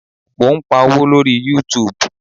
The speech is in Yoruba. Mo ń pa owó lórí YouTube.